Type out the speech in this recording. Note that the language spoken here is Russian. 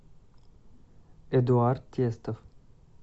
эдуард тестов